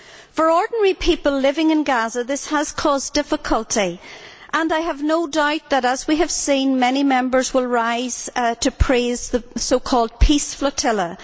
For ordinary people living in Gaza this has caused difficulty and I have no doubt that, as we have seen, many Members will rise to praise the so called peace flotilla.